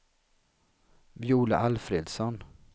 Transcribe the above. Viola Alfredsson